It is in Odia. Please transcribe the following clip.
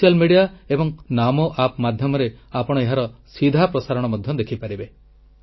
ସୋସିଆଲ ମିଡିଆ ଏବଂ ନାମୋ App ମାଧ୍ୟମରେ ଆପଣ ଏହାର ସିଧା ପ୍ରସାରଣ ମଧ୍ୟ ଦେଖି ପାରିବେ